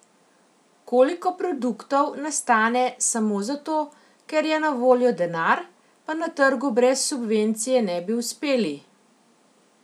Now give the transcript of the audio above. Koliko produktov nastane samo zato, ker je na voljo denar, pa na trgu brez subvencije ne bi uspeli?